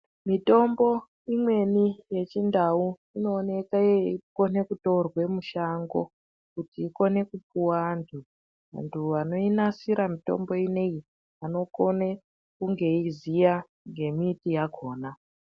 Mitombo imweni yechindau inooneka yeikona kutorwa mushango kuti ikone kupuwa antu. Antu anoinasira mutombo ineyi anokona kunge eiziya ngembiti yakhona.